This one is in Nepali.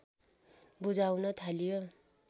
बुझाउन थालियो